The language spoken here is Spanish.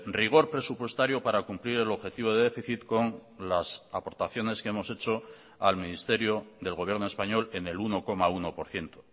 rigor presupuestario para cumplir el objetivo de déficit con las aportaciones que hemos hecho al ministerio del gobierno español en el uno coma uno por ciento